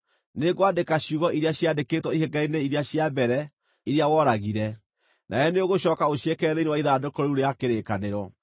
Nĩngwandĩka ciugo iria ciaandĩkĩtwo ihengere-inĩ iria cia mbere, iria woragire. Nawe nĩũgũcooka ũciĩkĩre thĩinĩ wa ithandũkũ rĩu rĩa kĩrĩkanĩro.”